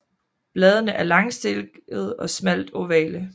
Bladene er langstilkede og smalt ovale